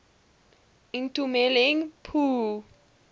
itumeleng pooe